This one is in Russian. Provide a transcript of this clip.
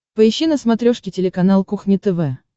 поищи на смотрешке телеканал кухня тв